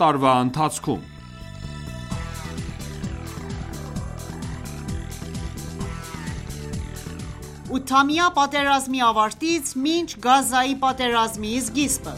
տարվա ընթացքում(8-ամյա պատերազմի ավարտից մինչ Գազայի պատերազմի սկիզբը)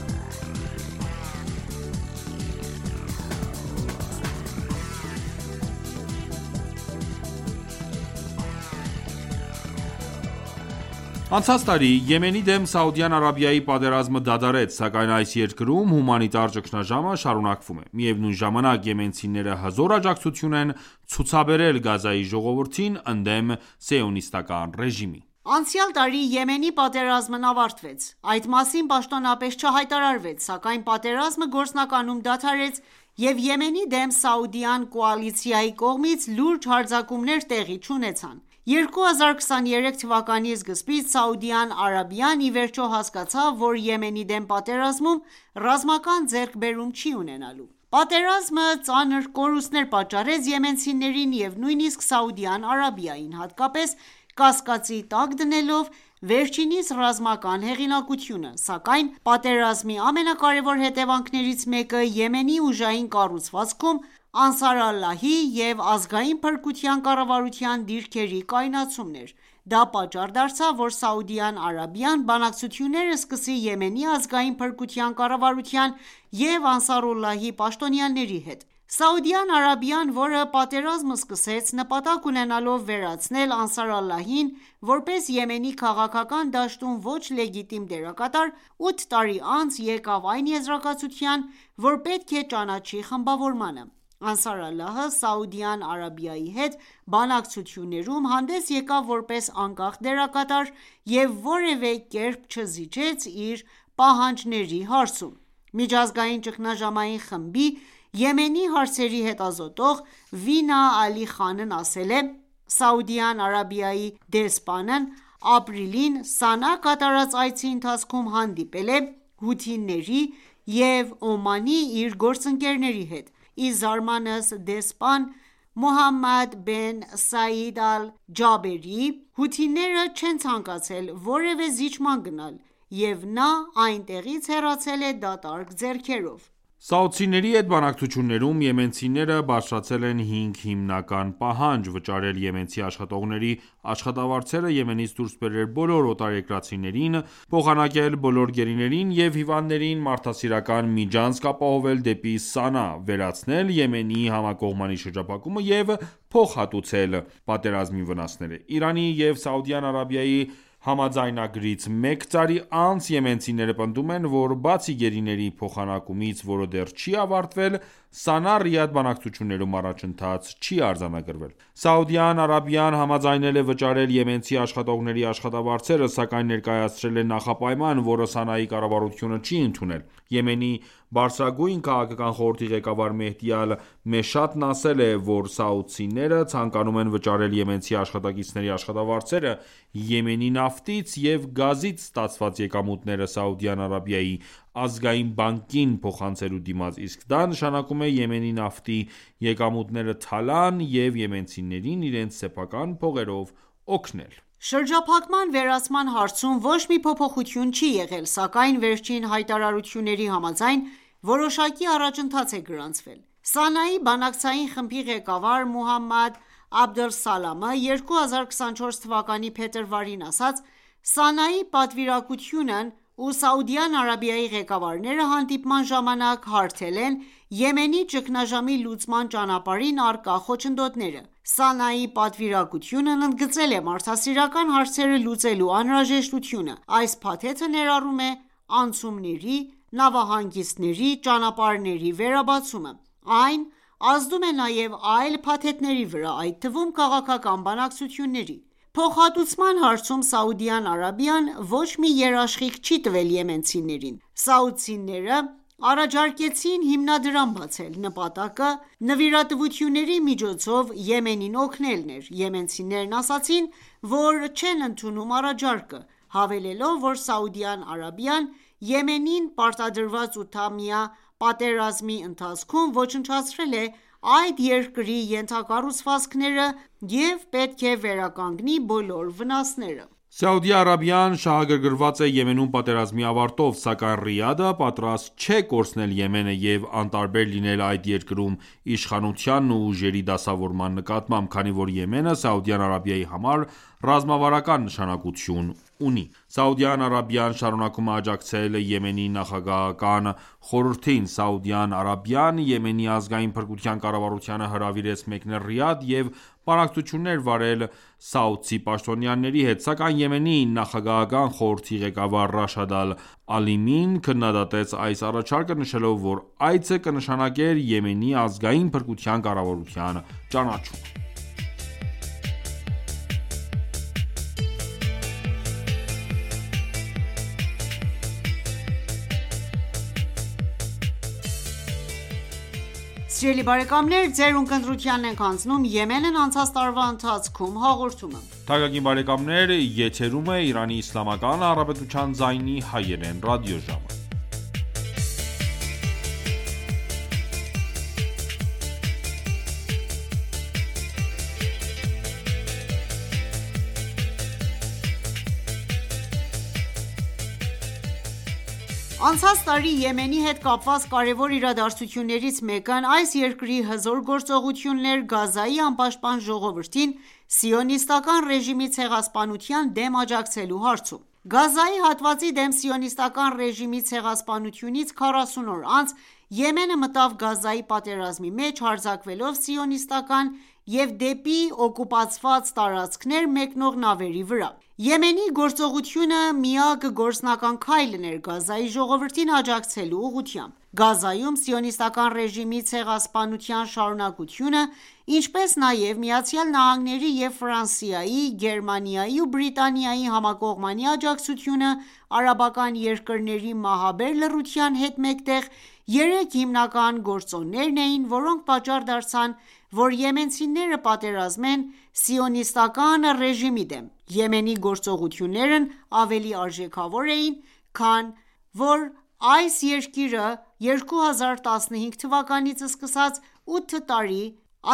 Անցած տարի Եմենի դեմ Սաուդյան Արաբիայի պատերազմը դադարեց, սակայն այս երկրում հումանիտար ճգնաժամը շարունակվում է։ Միևնույն ժամանակ եմենցիները հզոր աջակցություն են ցուցաբերել Գազայի ժողովրդին՝ ընդդեմ Սիոնիստական ռեժիմի։ Անցյալ տարի Եմենի պատերազմն ավարտվեց։ Այդ մասին պաշտոնապես չհայտարարվեց, սակայն պատերազմը գործնականում դադարեց, և Եմենի դեմ սաուդյան կոալիցիայի կողմից լուրջ հարձակումներ տեղի չունեցան։ 2023 թվականի սկզբին Սաուդյան Արաբիան ի վերջո հասկացավ, որ Եմենի դեմ պատերազմում ռազմական ձեռքբերում չի ունենալու։ Պատերազմը ծանր կորուստներ պատճառեց եմենցիներին և նույնիսկ Սաուդյան Արաբիային, հատկապես՝ կասկածի տակ դնելով վերջինիս ռազմական հեղինակությունը։ Սակայն պատերազմի ամենակարևոր հետևանքներից մեկը Եմենի ուժային կառուցվածքում Անսարալլահի և Ազգային փրկության կառավարության դիրքերի կայունացումն էր: Դա պատճառ դարձավ, որ Սաուդյան Արաբիան բանակցություններ սկսի Եմենի Ազգային փրկության կառավարության և Անսարուլլայի պաշտոնյաների հետ։ Սաուդյան Արաբիան, որը պատերազմը սկսեց՝ նպատակ ունենալով վերացնել Անսարալլահին որպես Եմենի քաղաքական դաշտում ոչ լեգիտիմ դերակատար, 8 տարի անց եկավ այն եզրակացության, որ պետք է ճանաչի խմբավորմանը։ Անսարալլահը Սաուդյան Արաբիայի հետ բանակցություններում հանդես եկավ որպես անկախ դերակատար և որևէ կերպ չզիջեց իր պահանջների հարցում։ Միջազգային ճգնաժամային խմբի Եմենի հարցերի հետազոտող Վինա Ալի Խանն ասել է. «Սաուդյան Արաբիայի դեսպանն ապրիլին Սանա կատարած այցի ընթացքում հանդիպել է հութիների և Օմանի իր գործընկերների հետ: Ի զարմանս դեսպան Մոհամմադ բեն Սայիդ ալ-Ջաբերի, հութիները չեն ցանկացել որևէ զիջման գնալ, և նա այնտեղից հեռացել է դատարկ ձեռքերով»։ Սաուդցիների հետ բանակցություններում եմենցիները բարձրացրել են հինգ հիմնական պահանջ՝ վճարել եմենցի աշխատողների աշխատավարձերը, Եմենից դուսր բերել բոլոր օտարերկրացիներին, փոխանակել բոլոր գերիներին և հիվանդներին, մարդասիրական միջանցք ապահովել դեպի Սանա, վերացնել Եմենի համակողմանի շրջափակումը և փոխհատուցել պատերազմի վնասներըը։ Իրանի և Սաուդյան Արաբիայի համաձայնագրից մեկ տարի անց եմենցիները պնդում են, որ բացի գերիների փոխանակումից (որը դեռ չի ավարտվել), Սանա-Ռիադ բանակցություններում առաջընթաց չի արձանագրվել: Սաուդյան Արաբիան համաձայնել է վճարել եմենցի աշխատողների աշխատավարձերը, սակայն ներկայացրել է նախապայման, որը Սանայի կառավարությունը չի ընդունել։ Եմենի բարձրագույն քաղաքական խորհրդի ղեկավար Մեհդի Ալ-Մեշաթն ասել է, որ սաուդիները ցանկանում են վճարել եմենցի աշխատակիցների աշխատավարձերը՝ Եմենի նավթից և գազից ստացված եկամուտները Սաուդյան Արաբիայի Ազգային բանկին փոխանցելու դիմաց, իսկ դա նշանակում է Եմենի նավթի եկամուտները թալան և եմենցիներին իրենց սեփական փողերով օգնել: Շրջափակման վերացման հարցում ոչ մի փոփոխություն չի եղել, սակայն վերջին հայտարարություններին համաձայն՝ որոշակի առաջընթաց է գրանցվել։ Սանայի բանակցային խմբի ղեկավար Մուհամմադ Աբդ ալ-Սալամը 2024 թվականի փետրվարին ասաց. «Սանայի պատվիրակությունն ու Սաուդյան Արաբիայի ղեկավարները հանդիպման ժամանակ հարթել են Եմենի ճկնաժամի լուծման ճանապարհին առկա խոչնդոտները: Սանայի պատվիրակությունն ընդգծել է մարդասիրական հարցերը լուծելու անհրաժեշտությունը։ Այս փաթեթը ներառում է անցումների, նավահանգիստների, ճանապարհների վերաբացումը։ Այն ազդում է նաև այլ փաթեթների վրա, այդ թվում՝ քաղաքական բանակցությունների»։ Փոխհատուցման հարցում Սաուդյան Արաբիան ոչ մի երաշխիք չի տվել եմենցիներին։ Սաուդցիները առաջարկեցին հիմնադրամ բացել: Նպատակը նվիրատվությունների միջոցով Եմենին օգնելն էր։ Եմենցիներն ասացին, որ չեն ընդունում առաջարկը, հավելելով, որ Սաուդյան Արաբիան Եմենին պարտադրված 8 տարվա պատերազմի ընթացքում ոչնչացրել է այդ երկրի ենթակառուցվածքները և պետք է վերականգնի բոլոր վնասները։ Սաուդյան Արաբիան շահագրգռված է Եմենում պատերազմի ավարտով, սակայն Ռիադը պատրաստ չէ կորցնել Եմենը և անտարբեր լինել այդ երկրում իշխանությանն ու ուժերի դասավորման նկատմամբ, քանի որ Եմենը Սաուդյան Արաբիայի համար ռազմավարական նշանակություն ունի: Սաուդյան Արաբիան շարունակում է աջակցել Եմենի նախագահական խորհրդին։ Սաուդյան Արաբիան Եմենի Ազգային փրկության կառավարությանը հրավիրեց մեկնել Ռիադ և բանակցություններ վարել սաուդցի պաշտոնյաների հետ։ Սակայն Եմենի նախագահական խորհրդի ղեկավար Ռաշադ ալ Ալիմին քննադատեց այս առաջարկը, նշելով, որ այցը կնշանակեր Եմենի Ազգային փրկության կառավարության ճանաչում: Անցած տարի Եմենի հետ կապված կարևոր իրադարձություններից մեկն այս երկրի հզոր գործողությունն էր՝ Գազայի անպաշտպան ժողովրդին Սիոնիստական ռեժիմի ցեղասպանության դեմ աջակցելու հարցում։ Գազայի հատվածի դեմ Սիոնիստական ռեժիմի ցեղասպանությունից 40 օր անց Եմենը մտավ Գազայի պատերազմի մեջ՝ հարձակվելով սիոնիստական և դեպի օկուպացված տարածքներ մեկնող նավերի վրա: Եմենի գործողությունը միակ գործնական քայլն էր՝ Գազայի ժողովրդին աջակցելու ուղղությամբ: Գազայում Սիոնիստական ռեժիմի ցեղասպանության շարունակությունը, ինչպես նաև ԱՄՆ-ի և Ֆրանսիայի, Գերմանիայի ու Բրիտանիայի համակողմանի աջակցությունը, արաբական երկրների մահաբեր լռության հետ մեկտեղ, երեք հիմնական գործոններն էին, որոնք պատճառ դարձան, որ եմենցիները պատերազմեն Սիոնիստական ռեժիմի դեմ: Եմենի գործողություններն ավելի արժեքավոր էին, քանի որ այս երկիրը 2015 թվականից սկսած 8 տարի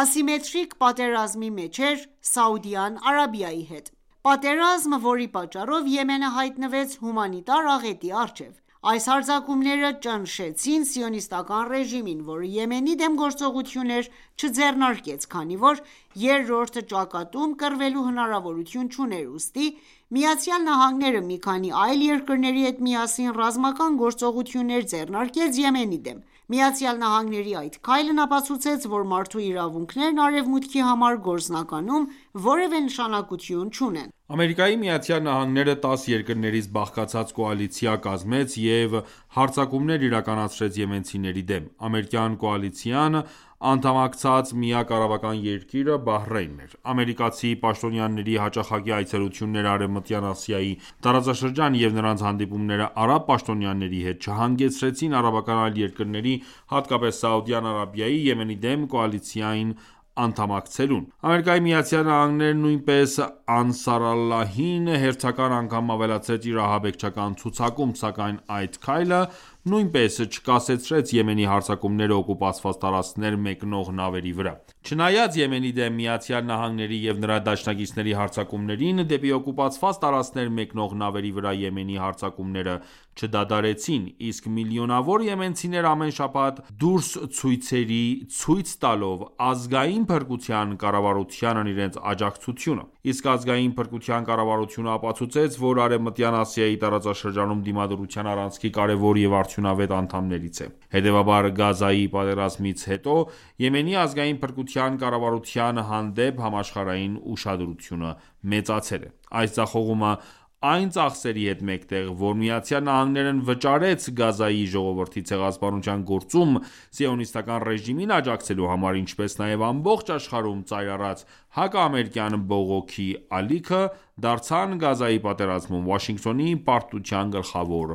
ասիմետրիկ պատերազմի մեջ էր Սաուդյան Արաբիայի հետ։ Պատերազմ, որի պատճառով Եմենը հայտնվեց հումանիտար աղետի առջև: Այս հարձակումները ճնշեցին Սիոնիստական ռեժիմին, որը Եմենի դեմ գործողություններ չձեռնարկեց, քանի որ երրորդ ճակատում կռվելու հնարավորություն չուներ։ Ուստի ԱՄՆ-ը մի քանի այլ երկրների հետ միասին, ռազմական գործողություններ ձեռնարկեց Եմենի դեմ։ ԱՄՆ-ի այդ քայլն ապացուցեց, որ մարդու իրավունքներն Արևմուտքի համար գործնականում որևէ նշանակություն չունեն։ ԱՄՆ-ը 10 երկրներից բաղկացած կոալիցիա կազմեց և հարձակումներ իրականացրեց եմենցիների դեմ։ Ամերիկյան կոալիցիային անդամակցած միակ արաբական երկիրը Բահրեյնն էր։ Ամերիկացի պաշտոնյաների հաճախակի այցելությունները Արևմտյան Ասիայի տարածաշրջան և նրանց հանդիպումները արաբ պաշտոնյաների հետ չհանգեցրին արաբական այլ երկրների, հատկապես Սաուդյան Արաբիայի, Եմենի դեմ կոալիցիային անդամակցելուն: ԱՄՆ-ն նույնիսկ Անսարալլահին հերթական անգամ ավելացրեց իր ահաբեկչական ցուցակում, սակայն այդ քայլը նույնպես չկասեցրեց Եմենի հարձակումները օկուպացված տարածքներ մեկնող նավերի վրա։ Չնայած Եմենի դեմ ԱՄՆ-ի և նրա դաշնակիցների հարձակումներին, դեպի օկուպացված տարածքներ մեկնող նավերի վրա Եմենի հարձակումները չդադարեցին, իսկ միլիոնավոր եմենցիներ ամեն շաբաթ դուրս ցույցերի, ցույց տալով Ազգային փրկության կառավարությանն իրենց աջակցությունը։ Իսկ Ազգային փրկության կառավարությունը ապացուցեց, որ Արևմտյան Ասիայի տարածաշրջանում Դիմադրության առանցքի կարևոր և արդյունավետ անդամներից է։ Հետևաբար, Գազայի պատերազմից հետո, Եմենի ազգային փրկության կառավարության հանդեպ համաշխարհային ուշադրությունը մեծացել է: Այս ձախողումը, այն ծախսերի հետ մեկտեղ, որ ԱՄՆ-ն վճարեց Գազայի ժողովրդի ցեղասպանության գործում Սիոնիստական ռեժիմին աջակցելու համար, ինչպես նաև ամբողջ աշխարհում ծայր առած հակաամերիկյան բողոքի ալիքը, դարձան Գազայի պատերազմում Վաշինգտոնի պարտության գլխավոր